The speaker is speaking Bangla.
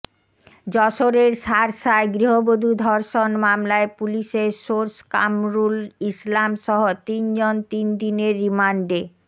যশোরের শার্শায় গৃহবধূ ধর্ষণ মামলায় পুলিশের সোর্স কামরুল ইসলামসহ তিনজন তিন দিনের রিমান্ডে